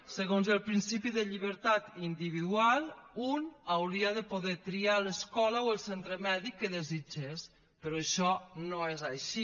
segons el principi de llibertat individual un hauria de poder triar l’escola o el centre mèdic que desitgés però això no és així